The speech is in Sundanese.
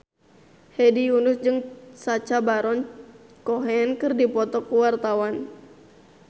Hedi Yunus jeung Sacha Baron Cohen keur dipoto ku wartawan